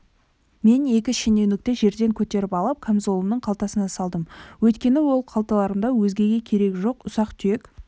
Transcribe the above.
мен екі шенеунікті жерден көтеріп алып камзолымның қалтасына салдым өйткені ол қалталарымда өзгеге керегі жоқ ұсақ-түйек